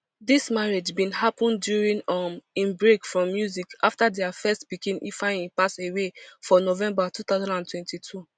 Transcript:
dis marriage bin happun during um im break from music afta dia first pikin ifeanyi pass away for november two thousand and twenty-two